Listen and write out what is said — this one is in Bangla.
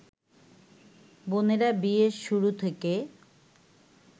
বোনেরা বিয়ের শুরু থেকে